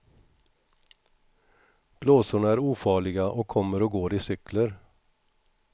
Blåsorna är ofarliga och kommer och går i cykler.